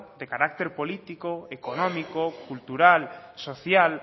de carácter político económico cultural social